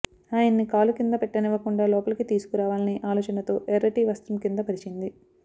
ఆయన్ని కాలు కింద పెట్టనివ్వకుండా లోపలికి తీసుకురావాలని ఆలోచనతో ఎర్రటి వస్త్రం కింద పరిచింది